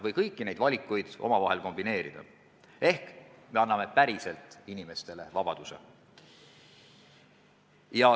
Neid valikuid võiks saada ka omavahel kombineerida ehk me anname päriselt inimestele vabaduse.